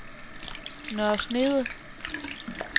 Nørre Snede